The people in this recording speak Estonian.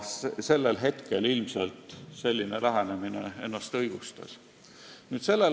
Sellel hetkel selline lähenemine ilmselt õigustas ennast.